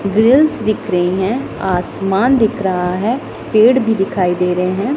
Grills दिख रही हैं आसमान दिख रहा है पेड़ भी दिखाई दे रहे हैं।